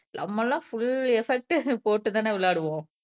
நம்மமெல்லாம் full effect போட்டுதானே விளையாடுவோம்.